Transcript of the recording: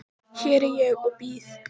Hér er ég og bíð.